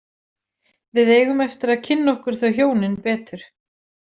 Við eigum eftir að kynna okkur þau hjónin betur.